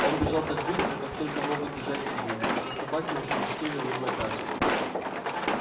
он бежал так быстро как только могут бежать свиньи но собаки уже висели у него на пятках